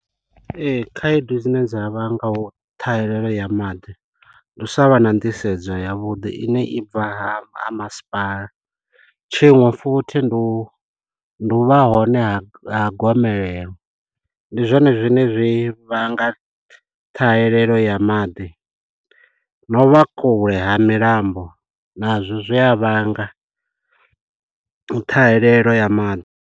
Ee, khaedu dzine dza vhanga u ṱhahelelo ya maḓi, ndi u sa vha na nḓisedzo ya vhuḓi ine i bva ha masipala. Tshiṅwe futhi ndi u, ndi u vha hone ha ha gomelelo. Ndi zwone zwine zwi vhanga ṱhahelelo ya maḓi, no u vha kule ha milambo na zwo zwi a vhanga ṱhahelelo ya maḓi.